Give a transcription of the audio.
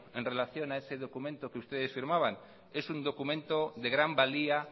en relación a ese documento que ustedes firmaban que es un documento de gran valía